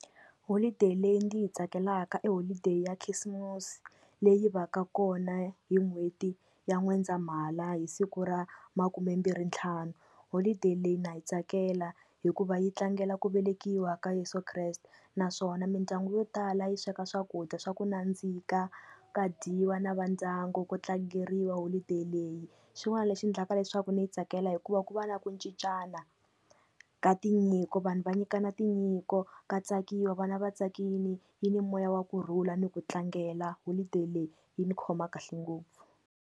Holiday leyi ndzi yi tsakelaka i holiday ya khisimusi leyi va ka kona hi n'hweti ya N'wendzamhala hi siku ra makumembirhi ntlhanu, holiday leyi na yi tsakela hikuva yi tlangela ku velekiwa ka Yeso Kreste naswona mindyangu yo tala yi sweka swakudya swa ku nandzika, ka dyiwa na va ndyangu ku tlangeriwa holiday leyi, xin'wana lexi endlaka leswaku ndzi yi tsakela hikuva ku va na ku cincana ka tinyiko, vanhu va nyikana tinyiko, ka tsakiwa vana va tsakini yi ni moya wa kurhula ni ku tlangela holiday leyi yi ni khoma kahle ngopfu.